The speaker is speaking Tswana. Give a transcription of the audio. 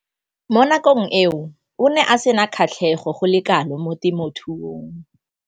Mo nakong eo o ne a sena kgatlhego go le kalo mo temothuong.